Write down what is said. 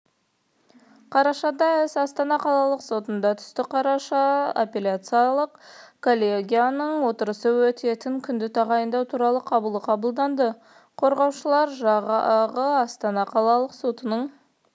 қарашада іс астана қалалық сотына түсті қарашада аппеляциялық коллегияның отырысы өтетін күнді тағайындау туралы қаулы қабылданды қорғаушылар жағы астана қалалық сотының